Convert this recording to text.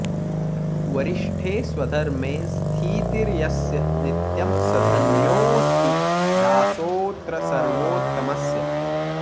वरिष्ठे स्वधर्मे स्थितिर्यस्य नित्यं स धन्योऽस्ति दासोऽत्र सर्वोत्तमस्य